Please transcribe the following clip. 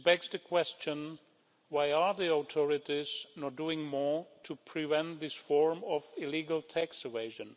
The question is, why are the authorities not doing more to prevent this form of illegal tax evasion?